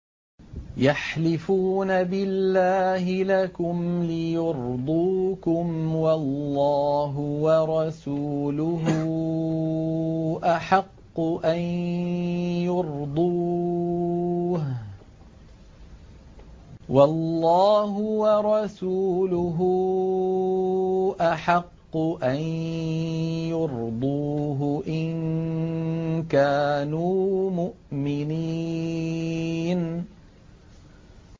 يَحْلِفُونَ بِاللَّهِ لَكُمْ لِيُرْضُوكُمْ وَاللَّهُ وَرَسُولُهُ أَحَقُّ أَن يُرْضُوهُ إِن كَانُوا مُؤْمِنِينَ